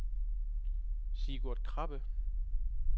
Sigurd Krabbe